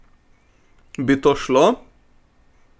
Bi to šlo?